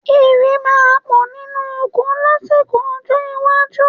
Ìrẹ̀ máa pọ̀ nínú oko lásìkò ọjọ́ iwájú